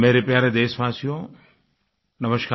मेरे प्यारे देशवासियो नमस्कार